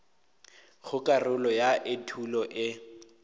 go karolo ya etulo e